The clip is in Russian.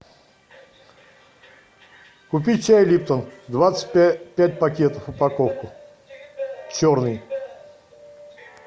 купи чай липтон двадцать пять пакетов упаковку черный